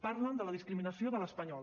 parlen de la discriminació de l’espanyol